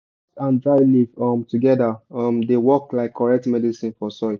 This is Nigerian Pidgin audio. ash and dry leaf um together um dey work like correct medicine for soil.